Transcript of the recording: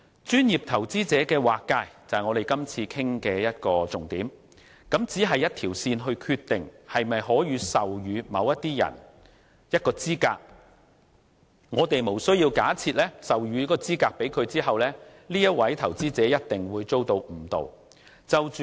專業投資者的劃界是我們今次討論的重點，它只是關於以一條線來決定可否授予某些人一個資格，故此，我們無須假設授予資格給某位投資者後，該投資者一定會被誤導。